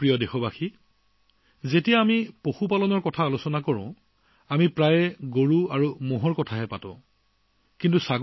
মোৰ প্ৰিয় দেশবাসীআমি যেতিয়া পশুপালনৰ কথা কওঁ তেতিয়া প্ৰায়ে গৰুমহৰ মাজতে সীমাবদ্ধ হৈ থাকে